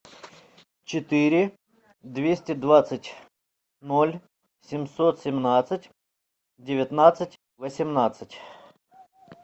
четыре двести двадцать ноль семьсот семнадцать девятнадцать восемнадцать